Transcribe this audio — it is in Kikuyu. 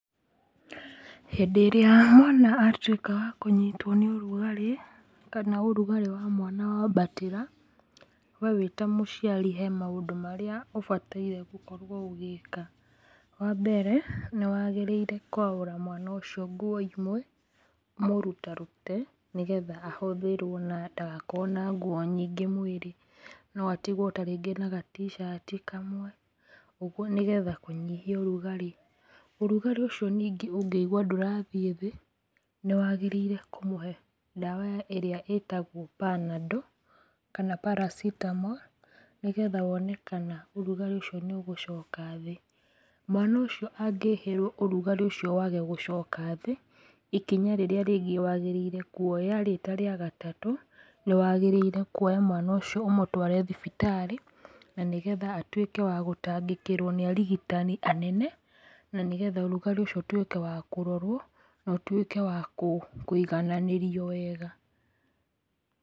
Hĩndĩ ĩrĩa mwana atũika wakũnyitwo nĩ ũrugarĩ, kana ũrugarĩ wa mwana wambatĩra ,we wĩ ta mũciari he maũndũ marĩa ũbataire gũkorwo ũgĩka. Wa mbere nĩ wagĩrĩire kwaũra mwana ũcio nguo imwe ũmũrutarute nĩgetha ahũthĩrwo na ndagakorwo na nguo nyingĩ mũĩrĩ no atigwo ta rĩngĩ na gaticati kamwe ũguo, nĩgetha kũnyihia ũrugarĩ. Ũrugarĩ ũcio ningĩ ũngĩigũa ndũrathĩe thĩĩ nĩwagĩrĩirwo kũmũhe ndawa ĩrĩa ĩtagwo panadol kana paracetamol nĩgetha wone kana ũrugarĩ ũcio nĩ ũgũcoka thĩĩ. Mwana ũcio angĩhĩrwo ũrugarĩ ũcio wage gũcoka thĩĩ ikinya rĩrĩa rĩngĩ wagĩrĩire kuoya-rĩ tarĩa gatatũ, nĩ wagĩrĩirwo kuoya mwana ũcio ũmũtware thibitarĩ na nigetha atũĩke wa gũtangĩkĩrwo nĩ arigitani anene, na nĩgetha ũrugarĩ ũcio ũtũĩke wa kũrorwo na ũtũĩke wa kũigananĩrĩo wega.